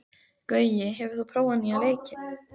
Gaui, hefur þú prófað nýja leikinn?